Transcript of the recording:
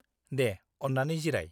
-दे, अन्नानै जिराय।